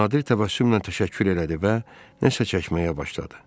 Nadir təbəssümlə təşəkkür elədi və nəsə çəkməyə başladı.